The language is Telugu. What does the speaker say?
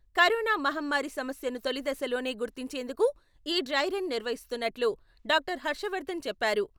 కరోనా మహమ్మారి సమస్యను తొలిదశలోనే గుర్తించేందుకు ఈ డ్రై రన్ నిర్వహిస్తున్నట్టు డా.హర్షవర్ధన్ చెప్పారు.